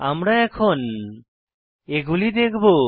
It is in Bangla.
আমরা এখন এগুলি দেখবো